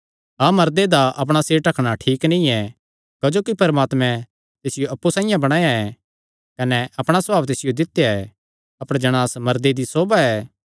हाँ मर्दे दा अपणा सिर ढकणा ठीक नीं ऐ क्जोकि परमात्मैं तिसियो अप्पु साइआं बणाया ऐ कने अपणा सभाव तिसियो दित्या ऐ अपर जणांस मर्दे दी सोभा ऐ